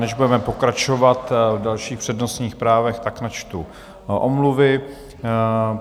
Než budeme pokračovat v dalších přednostních právech, tak načtu omluvy.